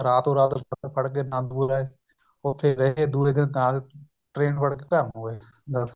ਰਾਤੋ ਰਾਤ ਬੱਸ ਫੜ ਕੇ ਆਨੰਦਪੁਰ ਆਏ ਉਥੇ ਗਏ ਦੁਏ ਦਿਨ ਨਾਲ train ਫੜਕੇ ਘਰ ਨੂੰ ਆਏ ਦੱਸ